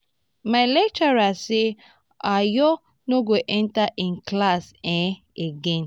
my lecturer say ayo no go at ten d im class um again